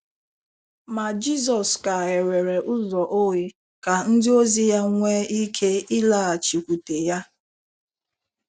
Ma Jizọs ka ghewere ụzọ oghe ka ndịozi ya nwee ike ịlaghachikwute ya.